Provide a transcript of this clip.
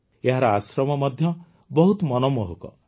ଏହାର ଆଶ୍ରମ ମଧ୍ୟ ବହୁତ ମନମୋହକ